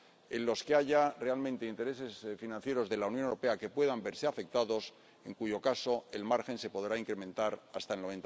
en los que haya realmente intereses financieros de la Unión Europea que puedan verse afectados, en cuyo caso el margen se podrá incrementar hasta el